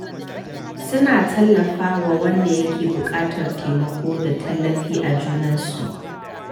Suna tallafa wa wanda yake buƙatar taimako da tallafi a junansu.